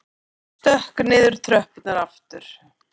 Stökk niður í tröppurnar aftur.